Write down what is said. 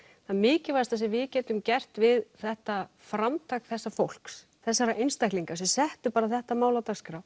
það mikilvægasta sem við getum gert við þetta framtak þessa fólks þessara einstaklinga sem settu bara þetta mál á dagskrá